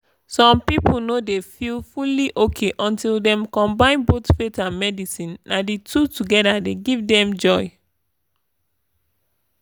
some people no dey feel fully okay until dem combine both faith and medicine na the two together dey give dem joy